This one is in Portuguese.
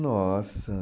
Nossa.